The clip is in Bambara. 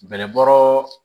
Bɛlɛbɔ